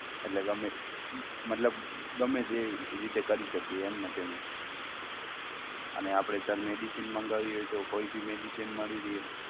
એટલે ગમે તે મતલબ ગમે તે રીતે કરી શકે એમને payment અને આપણે sir medicine મંગાવી હોય તો કોઈ ભી medicine મળી રહે?